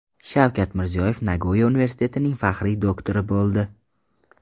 Shavkat Mirziyoyev Nagoya universitetining faxriy doktori bo‘ldi .